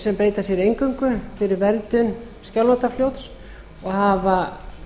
sem beita sér eingöngu fyrir verndun skjálfandafljóts og hafa